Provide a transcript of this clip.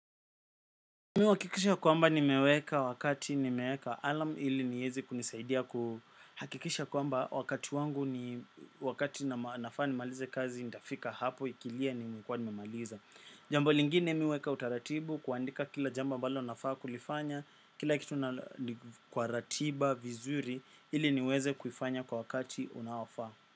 Mi uhakikisha kwamba nimeweka wakati nimeweka alam ili niezi kunisaidia kuhakikisha kwamba wakati wangu ni wakati nafaa nimalize kazi ndafika hapo ikilia nimekuwa nimaliza. Jambo lingine mi huweka utaratibu kuandika kila jambo ambalo nafaa kulifanya kila kitu na kwa ratiba vizuri ili niweze kufanya kwa wakati unaofaa.